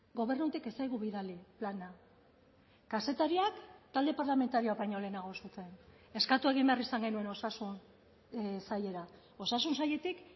gobernutik ez zaigu bidali plana kazetariak talde parlamentarioak baino lehenago zuten eskatu egin behar izan genuen osasun sailera osasun sailetik